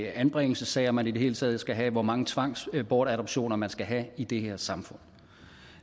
anbringelsessager man i det hele taget skal have hvor mange tvangsbortadoptioner man skal have i det her samfund